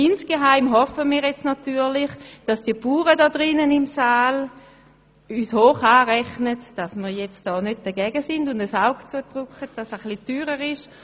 Insgeheim hoffen wir natürlich, die Bauern in diesem Saal werden uns hoch anrechnen, dass wir nicht dagegen sind und ein Auge zudrücken, wenn das Projekt etwas teurer ist.